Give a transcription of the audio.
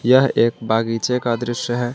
यह एक बागीचे का दृश्य है।